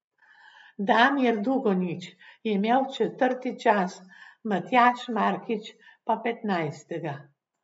Damir Dugonjić je imel četrti čas, Matjaž Markič pa petnajstega.